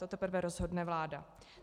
To teprve rozhodne vláda.